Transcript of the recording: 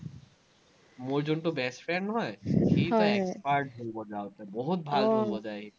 মোৰ জোনটো best friend নহয়, ঢোল বজাওঁতে, বহুত